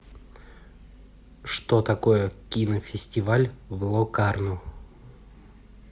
что такое кинофестиваль в локарно